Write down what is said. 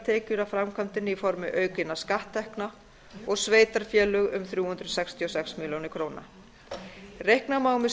tekjur af framkvæmdinni í formi aukinna skatttekna og sveitarfélög um þrjú hundruð sextíu og sex milljónir króna reikna má með